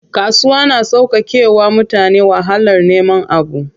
Kasuwa na sauƙake wa mutane wahalar neman abu.